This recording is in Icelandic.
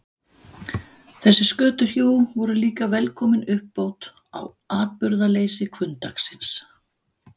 Þessi skötuhjú voru líka velkomin uppbót á atburðaleysi hvunndagsins.